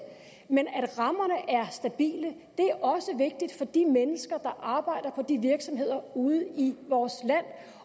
men at rammerne er stabile er også vigtigt for de mennesker der arbejder på de virksomheder ude i vores land